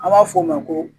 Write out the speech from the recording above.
An b'a f'o ma ko